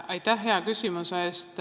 Aitäh hea küsimuse eest!